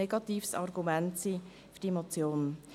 Deshalb ist das kein Argument gegen diese Motion.